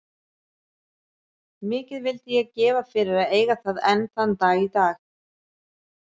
Mikið vildi ég gefa fyrir að eiga það enn þann dag í dag.